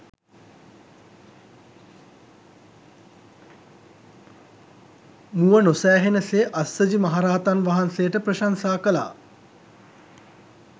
මුව නොසෑහෙන සේ අස්සජි මහරහතන් වහන්සේට ප්‍රශංසා කළා.